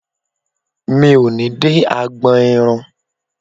Mi ò ní dé agbọn irun.